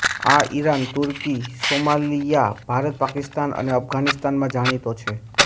આ ઈરાન તુર્કી સોમાલીયા ભારત પાકિસ્તાન અને અફઘાનિસ્તાનમાં જાણીતો છે